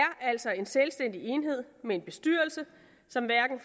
altså en selvstændig enhed med en bestyrelse som hverken